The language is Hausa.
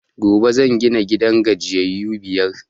Gobe zan gina gidan gajiyayu biyar